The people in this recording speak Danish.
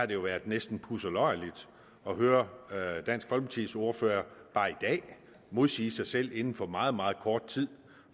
det jo været næsten pudseløjerligt at høre høre dansk folkepartis ordfører bare i dag modsige sig selv inden for meget meget kort tid